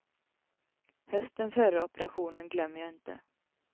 Hösten före operationen glömmer jag inte.